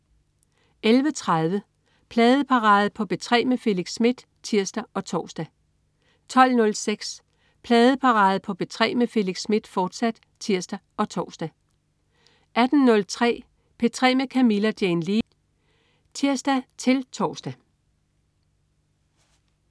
11.30 Pladeparade på P3 med Felix Smith (tirs og tors) 12.06 Pladeparade på P3 med Felix Smith, fortsat (tirs og tors) 18.03 P3 med Camilla Jane Lea (tirs-tors)